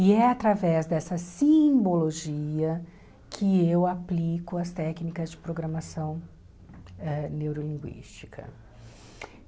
E é através dessa simbologia que eu aplico as técnicas de programação da neurolinguística.